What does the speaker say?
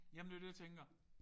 Ja men det jo det jeg tænker